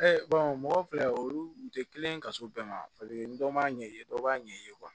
mɔgɔ filɛ olu u tɛ kelen ye ka s'u bɛɛ ma dɔ m'a ɲɛ ye dɔ b'a ɲɛ ye